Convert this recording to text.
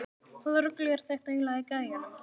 Hvaða rugl er þetta eiginlega í gæjanum?